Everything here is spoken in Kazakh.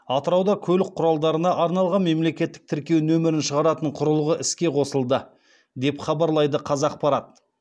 атырауда көлік құралдарына арналған мемлекеттік тіркеу нөмірін шығаратын құрылғы іске қосылды деп хабарлайды қазақпарат